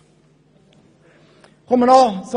Ich komme zum Ausblick.